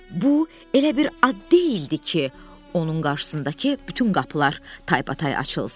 Bu elə bir ad deyildi ki, onun qarşısındakı bütün qapılar taybatay açılsın.